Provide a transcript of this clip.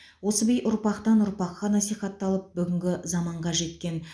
осы би ұрпақтан ұрпаққа насихатталып бүгінгі заманға жеткен